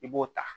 I b'o ta